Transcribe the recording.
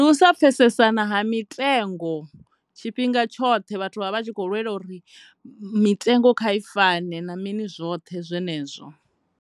Ndi u sa pfhesesana ha mitengo tshifhinga tshoṱhe vhathu vha vha vha tshi kho lwela uri mitengo kha i fane na mini zwoṱhe zwenezwo.